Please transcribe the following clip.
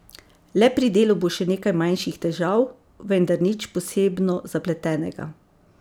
Le pri delu bo še nekaj manjših težav, vendar nič posebno zapletenega.